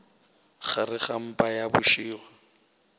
gare ga mpa ya bošego